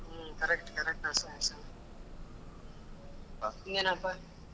ಹಾ correct correct ಮತ್ತೆ ಇನ್ ಏನ್ಪಾ?